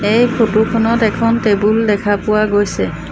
এই ফটো খনত এখন টেবুল দেখা পোৱা গৈছে।